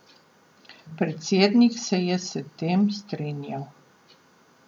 Predsednik se je s tem strinjal.